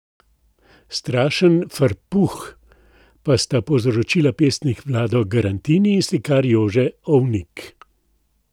Strašen frpruh pa sta povzročila pesnik Vlado Garantini in slikar Jože Ovnik.